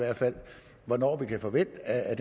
at